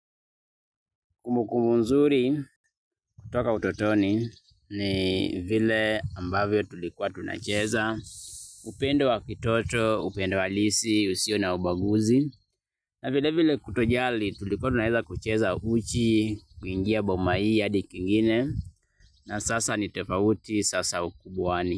Kumbukumbu nzuri, kutoka utotoni, ni vile ambavyo tulikuwa tunacheza, upendo wa kitoto, upendo halisi, usio na ubaguzi, na vile vile kutojali tulikuwa tunaweza kucheza uchi, kuingia boma hii hadi kwingine, na sasa nitofauti sasa ukubwani.